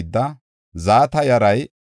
Baana yaray 642;